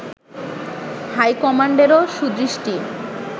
হাইকমান্ডেরও সুদৃষ্টি